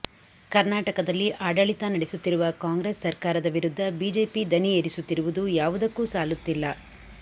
ಕರ್ನಾಟಕದಲ್ಲಿ ಆಡಳಿತ ನಡೆಸುತ್ತಿರುವ ಕಾಂಗ್ರೆಸ್ ಸರ್ಕಾರದ ವಿರುದ್ಧ ಬಿಜೆಪಿ ದನಿ ಏರಿಸುತ್ತಿರುವುದು ಯಾವುದಕ್ಕೂ ಸಾಲುತ್ತಿಲ್ಲ